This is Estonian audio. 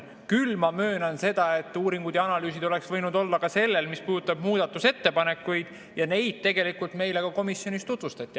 Küll aga ma möönan seda, et uuringud ja analüüsid oleksid võinud olla ka sellel, mis puudutab muudatusettepanekuid, ja neid meile tegelikult ka komisjonis tutvustati.